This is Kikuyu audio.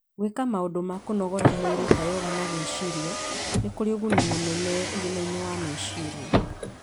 Gwĩka maũndũ ma kũnogora mwĩrĩ ta yoga na gwĩciria nĩ kũrĩ ũguni mũnene ũgima wa meciria.